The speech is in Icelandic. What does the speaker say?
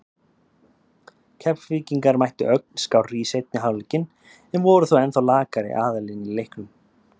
Keflvíkingar mættu ögn skárri í seinni hálfleikinn en voru þó ennþá lakari aðilinn í leiknum.